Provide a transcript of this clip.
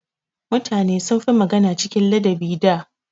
Mutane sun fi magana cikin ladabi da.